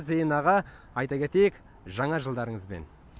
зейін аға айта кетейік жаңа жылдарыңызбен